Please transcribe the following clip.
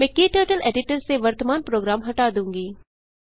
मैं क्टर्टल एडिटर से वर्तमान प्रोग्राम हटा दूँगी